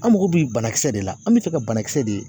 An mago bi banakisɛ de la an be fɛ ka banakisɛ de.